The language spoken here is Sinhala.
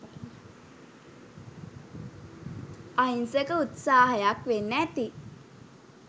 අහිංසක උත්සාහයක් වෙන්න ඇති